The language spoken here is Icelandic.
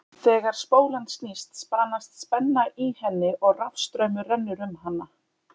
Þegar spólan snýst spanast spenna í henni og rafstraumur rennur um hana.